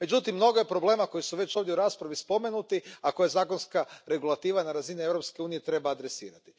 Međutim, mnogo je problema koji su već ovdje u raspravi spomenuti, a koje zakonska regulativa na razini Europske unije treba adresirati.